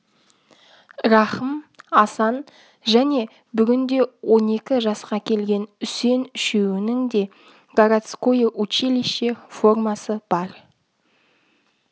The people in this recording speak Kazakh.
рахым асан және бүгінде он екі жасқа келген үсен үшеуінің де городское училище формасы бар